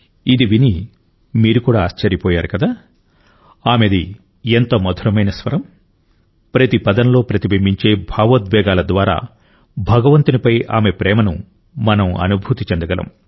ఇది విని మీరు కూడా ఆశ్చర్యపోయారు కదా ఆమెది ఎంత మధురమైన స్వరం ప్రతి పదంలో ప్రతిబింబించే భావోద్వేగాల ద్వారా భగవంతునిపై ఆమె ప్రేమను మనం అనుభూతి చెందగలం